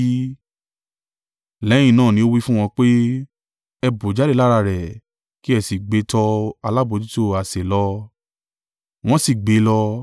Lẹ́yìn náà ni ó wí fún wọn pé, “Ẹ bù jáde lára rẹ̀ kí ẹ sì gbé e tọ alábojútó àsè lọ.” Wọ́n sì gbé e lọ;